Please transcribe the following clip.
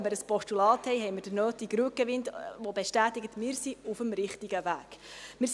Wenn wir ein Postulat haben, haben wir den nötigen Rückenwind, weil es bestätigt, dass wir auf dem richtigen Weg sind.